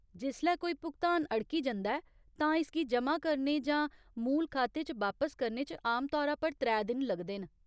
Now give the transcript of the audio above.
जिसलै कोई भुगतान अड़की जंदा ऐ, तां इसगी जमा करने जां मूल खाते च बापस करने च आमतौरा पर त्रै दिन लगदे न।